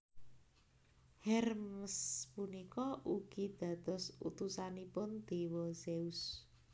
Hermes punika ugi dados utusanipun déwa Zeus